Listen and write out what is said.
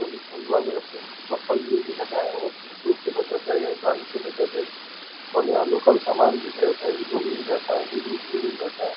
सभी फल वाले अपने ऊपर पल्ली-वल्ली लगाए है जिसे धूप से बचा जायेगा बारिश से बचा जायेगा और यहाँ लोकल सामान मिठाई-उठाई मिल जाता है दूध-उध भी मिल जाता है।